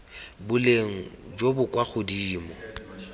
boleng jo bo kwa godimo